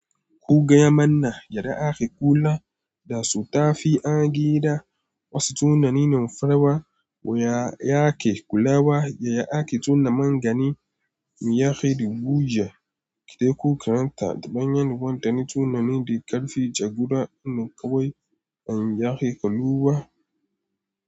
Ko gaya mana yadda ake kula da sutafi a gida. Wasu tunanin farawa wa yake kulawa yayi ake tuna magani me yake buja. Idan ku karanta da bayan yin kwantar tunanin da karfi jagora na kawai an yake kulawa.